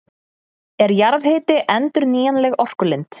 Er jarðhiti endurnýjanleg orkulind?